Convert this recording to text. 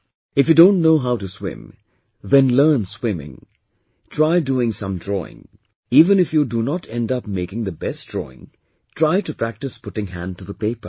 If you don't know how to swim, then learn swimming, try doing some drawing, even if you do not end up making the best drawing, try to practice putting hand to the paper